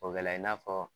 O kɛla i n'a fɔ